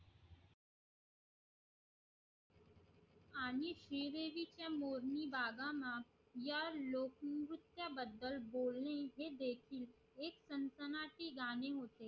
आणि श्री देवी च्या संसनाती गाणी होती